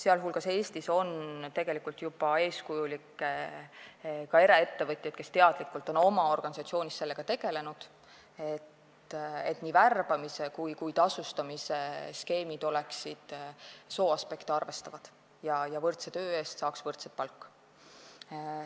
Eestis on juba eeskujulikke ettevõtjaid, ka eraettevõtjaid, kes teadlikult on oma organisatsioonis tegelenud sellega, et nii värbamis- kui ka tasustamisskeemid sooaspekte arvestaksid ja võrdse töö eest saaks võrdset palka.